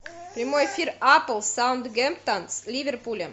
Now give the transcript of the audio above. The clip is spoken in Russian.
прямой эфир апл саутгемптон с ливерпулем